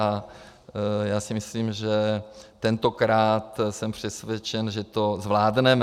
A já si myslím, že tentokrát jsem přesvědčen, že to zvládneme.